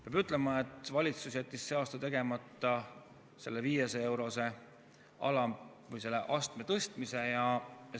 Peab ütlema, et valitsus jättis see aasta tegemata selle 500-eurose astme tõstmise.